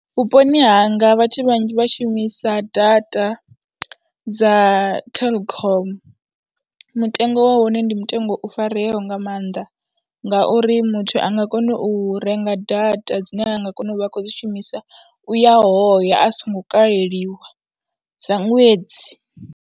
Vhuponi hanga vhathu vhanzhi vha shumisa data dza Telkom, mutengo wa hone ndi mutengo u fareaho nga maanḓa ngauri muthu a nga kona u renga data dzine a nga kona u vha khou dzi shumisa u ya hoya a songo kaleliwa dza ṅwedzi.